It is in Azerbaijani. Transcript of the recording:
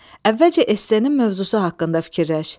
Əvvəlcə essenin mövzusu haqqında fikirləş.